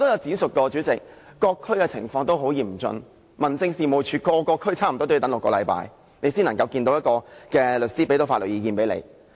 主席，我詳述過各區情況都很嚴峻，差不多各區民政事務處也要等6星期，當事人才可以見律師和聽取法律意見。